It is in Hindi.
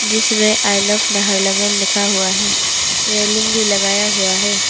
जिसमें आय लव नाहरलगुन लिखा हुआ है। रेलिंग भी लगाया हुआ है।